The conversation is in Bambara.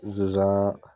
Zonzani